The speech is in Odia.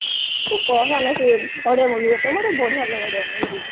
ତୁ କହନା ସେ ଓଡିଆ movie କଥା ମତେ ବଢିଆ ଲାଗେ ଓଡିଆ movie